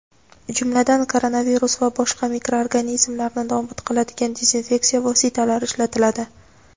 jumladan koronavirus va boshqa mikroorganizmlarni nobud qiladigan dezinfeksiya vositalari ishlatiladi.